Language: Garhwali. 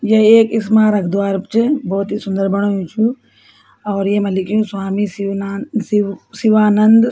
य एक स्मारक द्वार च भोत ही सुन्दर बणायु च और येमा लिख्युं स्वामी शिवनान शिव शिवानन्द --